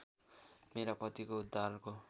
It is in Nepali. मेरा पतिको उद्धारको